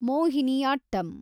Mohiniyattam